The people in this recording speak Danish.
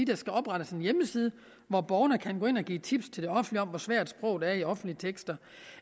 der skal oprettes en hjemmeside hvor borgerne kan gå ind og give tips til det offentlige om hvor svært sproget er i offentlige tekster